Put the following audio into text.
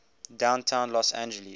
downtown los angeles